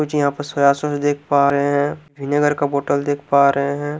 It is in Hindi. कुछ यहाँ पे सोया सॉस देख पा रहे है विनीगर का बोटल देख पा रहे है।